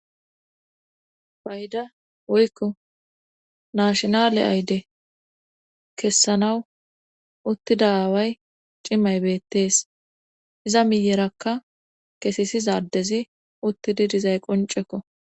bayda woykko nashinale ayde kessanawu uttida away cimay beettees iza miyerakka kesisizadezi uttididizay qoncekko